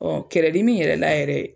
kɛrɛdimi yɛrɛ la yɛrɛ